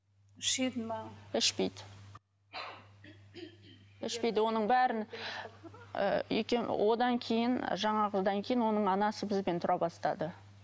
ішеді ме ішпейді ішпейді оның бәрін ы одан кейін жаңағыдан кейін оның анасы бізбен тұра бастады